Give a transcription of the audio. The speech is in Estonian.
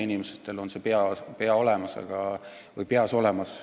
Inimestel on see peas olemas.